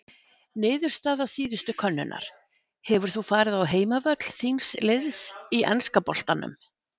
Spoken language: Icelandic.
Niðurstaða síðustu könnunar: Hefur þú farið á heimavöll þíns liðs í enska boltanum?